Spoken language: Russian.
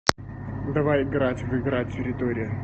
давай играть в игра территория